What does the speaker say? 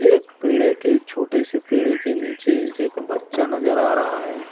एक पेड़े के छोटे से पेडे के नीचे एक बच्चा नजर आ रहा है।